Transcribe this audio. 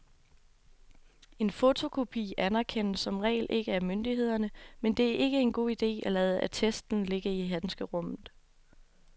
En fotokopi anerkendes som regel ikke af myndighederne, men det er ikke en god idé at lade attesten ligge i handskerummet.